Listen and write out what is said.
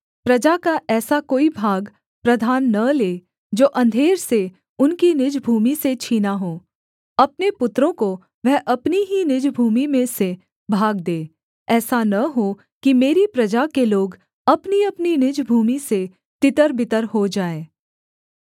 प्रजा का ऐसा कोई भाग प्रधान न ले जो अंधेर से उनकी निज भूमि से छीना हो अपने पुत्रों को वह अपनी ही निज भूमि में से भाग दे ऐसा न हो कि मेरी प्रजा के लोग अपनीअपनी निज भूमि से तितरबितर हो जाएँ